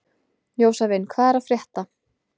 Jósavin, hvað er að frétta?